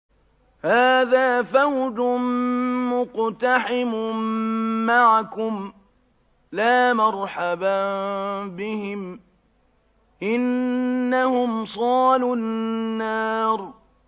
هَٰذَا فَوْجٌ مُّقْتَحِمٌ مَّعَكُمْ ۖ لَا مَرْحَبًا بِهِمْ ۚ إِنَّهُمْ صَالُو النَّارِ